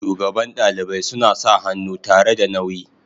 shugaban dalibai suna sa hannu tare da nauyi.